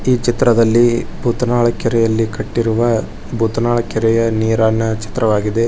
ಈ ಚಿತ್ರದಲ್ಲಿ ಉತ್ತರಾಳ ಕೆರೆಯ ಕಟ್ಟಿರುವ ಉತ್ತರಾಳ ಕೆರೆ ನೀರನ್ನು ಸುಂದರವಾಗಿದೆ.